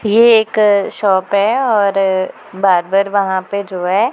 ये एक शॉप है और बार बार वहां पे जो है--